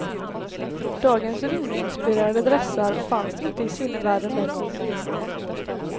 Dagens rymdinspirerade dressar fanns inte i sinnevärlden den gången.